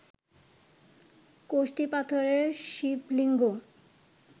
কষ্টি পাথরের শিবলিঙ্গ